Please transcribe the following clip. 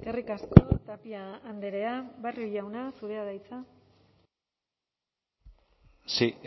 eskerrik asko tapia andrea barrio jauna zurea da hitza sí